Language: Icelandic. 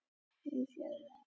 Gjaldþrotum fjölgar enn